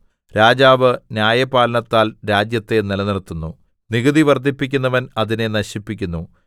രാജാവ് ന്യായപാലനത്താൽ രാജ്യത്തെ നിലനിർത്തുന്നു നികുതി വർദ്ധിപ്പിക്കുന്നവൻ അതിനെ നശിപ്പിക്കുന്നു